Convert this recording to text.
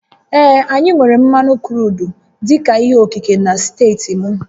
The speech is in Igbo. Ee, anyị nwèrè mmanụ kruudu dị ka ihe okike na steeti m